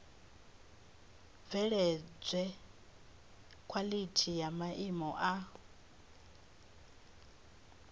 bveledzwe khwalithi ya maimo a